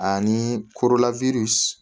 Ani korola